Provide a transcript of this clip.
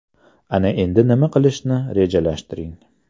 Ana endi nima qilishni rejalashtiring.